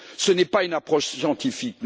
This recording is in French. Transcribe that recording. Ce n'est pas une approche scientifique.